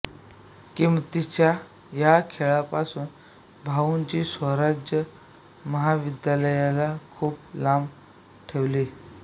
किंमतीच्या या खेळापासून भाऊंनी स्वराज महाविद्यालयाला खूप लांब ठेवले